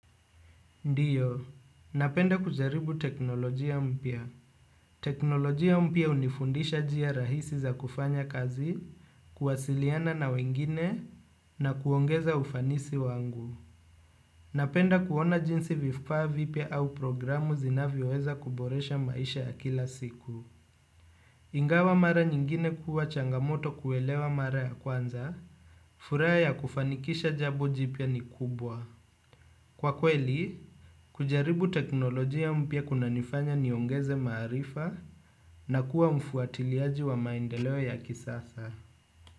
Ndiyo, napenda kujaribu teknolojia mpia. Teknolojia mpia unifundisha jia rahisi za kufanya kazi, kuwasiliana na wengine, na kuongeza ufanisi wangu. Napenda kuona jinsi vifa vipia au programu zinavioweza kuboresha maisha ya kila siku. Ingawa mara nyingine kuwa changamoto kuelewa mara ya kwanza, furaya ya kufanikisha jabo jipia ni kubwa. Kwa kweli, kujaribu teknolojia mpia kuna nifanya niongeze marifa na kuwa mfuatiliaji wa maendeleo ya kisasa.